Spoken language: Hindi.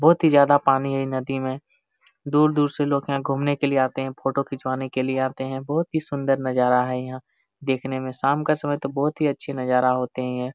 बहुत ही ज्यादा पानी है नदी में। दूर-दूर से लोग यहाँ घुमने के लिए आते है फोटो खिंचवाने के लिए आते है। बहुत सुंदर नज़ारा है यहाँ देखने में शाम के समय तो बहुत ही अच्छा नज़ारा होते है।